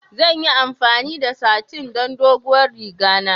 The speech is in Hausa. Zan yi amfani da satin don doguwar riga na.